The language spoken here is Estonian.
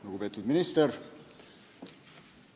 Lugupeetud minister!